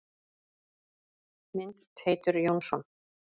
Mynd: Teitur Jónsson.